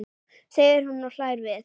segir hún og hlær við.